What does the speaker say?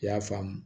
I y'a faamu